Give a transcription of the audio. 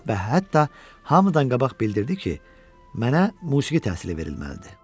Və hətta hamıdan qabaq bildirdi ki, mənə musiqi təhsili verilməlidir.